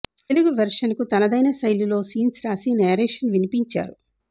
Telugu version కు తనదైన శైలిలో సీన్స్ రాసి నేరేషన్ వినిపించారు